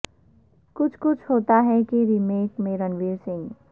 کچھ کچھ ہوتا ہے کے ریمیک میں رونیر سنگھ